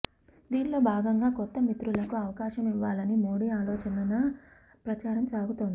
దీన్లో భాగంగా కొత్త మిత్రులకు అవకాశం ఇవ్వాలని మోడీ ఆలోచనగా ప్రచారం సాగుతోంది